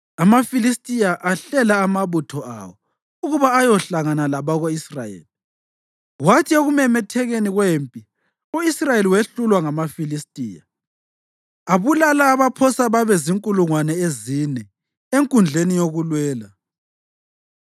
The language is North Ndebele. AmaFilistiya ahlela amabutho awo ukuba ayohlangana labako-Israyeli, kwathi ekumemethekeni kwempi, u-Israyeli wehlulwa ngamaFilistiya, abulala abaphosa babe zinkulungwane ezine enkundleni yokulwela.